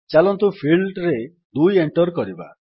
ଚାଲନ୍ତୁ ଫିଲ୍ଡରେ 2 ଏଣ୍ଟର୍ କରିବା